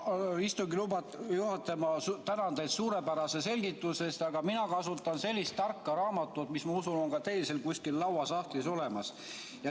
Istungi juhataja, ma tänan teid suurepärase selgituse eest, aga mina kasutan sellist tarka raamatut, mis, ma usun, on ka teil seal kusagil lauasahtlis olemas.